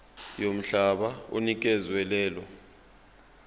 yomhlaba onikezwe lelo